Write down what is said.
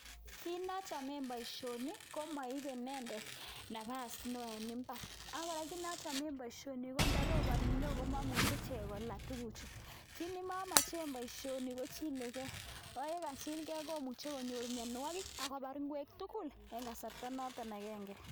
Kiit nochomen boisioni komoibe inendet napas neo en mbaar ako kora kiit nochomen boisioni kondo roponi neo komomuche kola tuguchu. Kiit nemomochen boisioni kochile gei ako yechilgei komuche konyor myonwogik akobar ngwek tugul en kasarta noton agenge.